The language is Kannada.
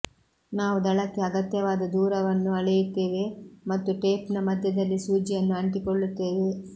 ನಾವು ದಳಕ್ಕೆ ಅಗತ್ಯವಾದ ದೂರವನ್ನು ಅಳೆಯುತ್ತೇವೆ ಮತ್ತು ಟೇಪ್ನ ಮಧ್ಯದಲ್ಲಿ ಸೂಜಿಯನ್ನು ಅಂಟಿಕೊಳ್ಳುತ್ತೇವೆ